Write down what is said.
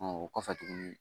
o kɔfɛ tugun